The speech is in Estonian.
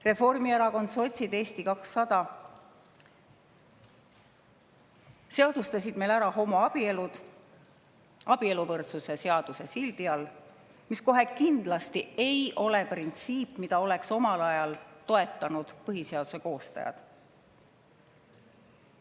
Reformierakond, sotsid ja Eesti 200 seadustasid meil homoabielud abieluvõrdsuse seaduse sildi all, mis kohe kindlasti ei ole printsiip, mida oleks omal ajal toetanud põhiseaduse koostajad.